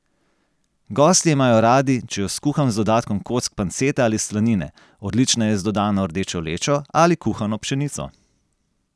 Gostje imajo radi, če jo skuham z dodatkom kock pancete ali slanine, odlična je z dodano rdečo lečo ali kuhano pšenico.